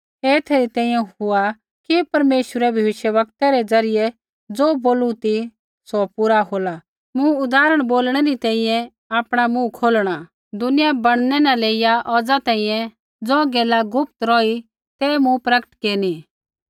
ऐ एथै री तैंईंयैं हुआ कि परमेश्वरै भविष्यवक्तै रै द्वारा ज़ो बोलू ती सौ पूरा होला मूँ उदाहरण बोलणै री तैंईंयैं आपणा मुँह खोलणा दुनिया बैणनै न लेइया औज़ा तैंईंयैं ज़ो गैला गुप्त रौही तै मूँ प्रकट केरनी